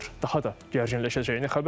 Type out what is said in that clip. Daha da gərginləşəcəyini xəbər verir.